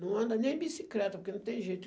Não anda nem bicicleta, porque não tem jeito.